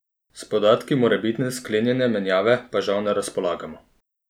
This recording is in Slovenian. S podatki morebitne sklenjene menjave pa žal ne razpolagamo.